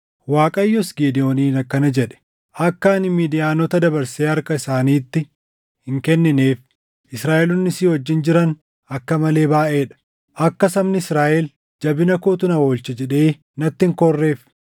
Waaqayyos Gidewooniin akkana jedhe; “Akka ani Midiyaanota dabarsee harka isaaniitti hin kennineef Israaʼeloonni si wajjin jiran akka male baayʼee dha. Akka sabni Israaʼel, ‘Jabina kootu na oolche’ jedhee natti hin koorreef,